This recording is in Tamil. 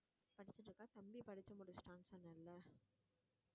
படிச்சிட்டிருக்கா தம்பி படிச்சு முடிச்சுட்டானு சொன்னேல்ல